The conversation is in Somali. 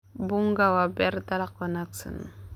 Bunga waa beer dalag wanaagsan.